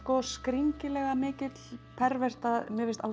skringilega mikill pervert að mér finnst